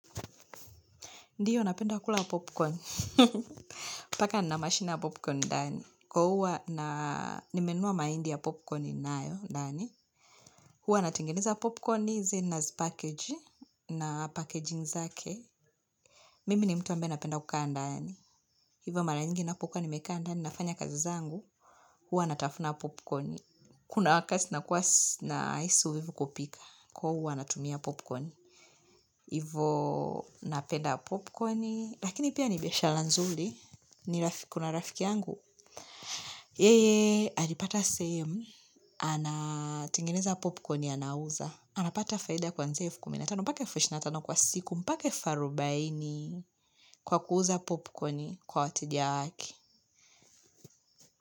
Ndiyo, napenda kula popcorn. Paka ninamashine ya popcorn, ndani. Kwa huwa na nimenunua mahindi ya popcorn ninayo, ndani. Huwa natengeneza popcorn, then nazipackage, na packaging zake. Mimi ni mtu ambaye napenda kukaandani. Hivyo mara nyingi na pokua nimekaandani nafanya kazi zangu. Huwa natafuna popcorn. Kuna wakati nakuasi nahisi uvivu kupika. Kwa huwa natumia popcorn. Hivo, napenda popcorn. Lakini pia nibiashara nzuri. Ni rafiki kuna rafiki yangu yeye alipata sehemu ana tengeneza popcorn anauza anapata faida kwanzia elfukuminatano mpaka elfuishirinatano kwa siku mpaka elfuarubaini kwa kuuza popcorn kwa wateja wake.